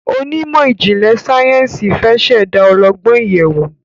Onímò ijinlẹ sáyẹnsì fẹ ṣ'èdá ọlọgbọn ìyèwù